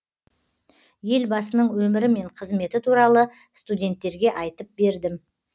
елбасының өмірі мен қызметі туралы студенттерге айтып бердім